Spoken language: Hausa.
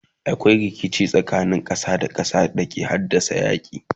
akwai rikici tsakanin ƙasa da ƙasa da ke haddasa yaki